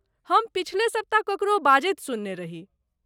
हम पछिले सप्ताह ककरो बाजैत सुनने रही।